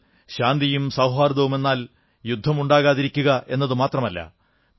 ഇന്ന് ശാന്തിയും സൌഹാർദ്ദവുമെന്നാൽ യുദ്ധം ഉണ്ടാകാതിരിക്കുക എന്നുമാത്രമല്ല